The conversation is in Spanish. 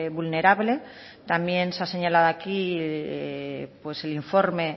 vulnerable también se ha señalado aquí el informe